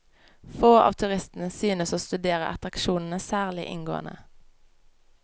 Få av turistene synes å studere attraksjonene særlig inngående.